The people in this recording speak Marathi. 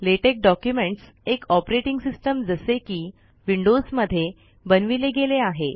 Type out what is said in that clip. लेटेक डॉक्युमेंट्स एक औपरेटिंग सिस्टम जसे कि विंडोस मध्ये बनविले गेले आहे